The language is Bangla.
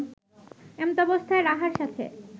এমতাবস্থায় রাহার সাথে